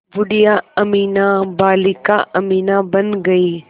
बूढ़िया अमीना बालिका अमीना बन गईं